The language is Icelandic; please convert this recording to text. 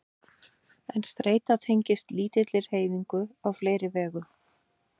En streita tengist lítilli hreyfingu á fleiri vegu.